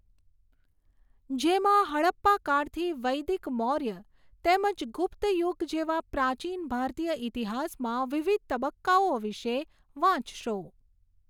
જેમાં હડપ્પાકાળથી વૈદિક મોર્ય તેમજ ગુપ્તયુગ જેવા પ્રાચીન ભારતીય ઈતિહાસમાં વિવિધ તબક્કાઓ વિશે વાંચશો.